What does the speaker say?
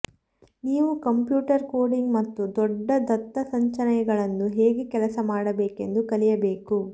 ನೀವು computer coding ಮತ್ತು ದೊಡ್ಡ ದತ್ತಸಂಚಯಗಳನ್ನು ಹೇಗೆ ಕೆಲಸ ಮಾಡಬೇಕೆಂದು ಕಲಿಯಬೇಕು